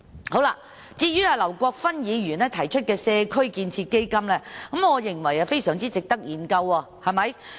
至於劉國勳議員提出的"社區建設基金"，我認為非常值得研究。